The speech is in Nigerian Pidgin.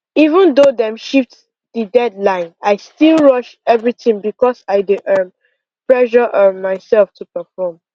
even though dem shift the deadline i still rush everything because i dey um pressure um myself to perform